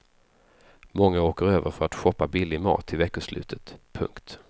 Många åker över för att shoppa billig mat till veckoslutet. punkt